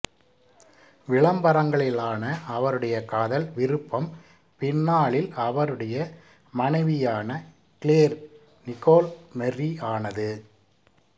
விளம்பரங்களிலான அவருடைய காதல் விருப்பம் பின்னாளில் அவருடைய மனைவியான கிளேர் நிகோல் மெர்ரி ஆனது